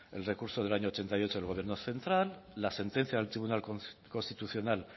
el recurso del año ochenta y ocho del gobierno central la sentencia del tribunal constitucional